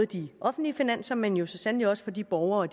de offentlige finanser men jo så sandelig også for de borgere og